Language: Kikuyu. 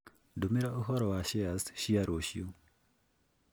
ndũmĩra ũhoro wa shares cia rũciũ